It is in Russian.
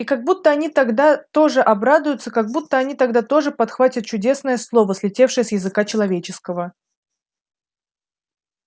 и как будто они тогда тоже обрадуются как будто они тогда тоже подхватят чудесное слово слетевшее с языка человеческого